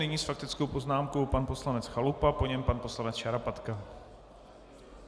Nyní s faktickou poznámkou pan poslanec Chalupa, po něm pan poslanec Šarapatka.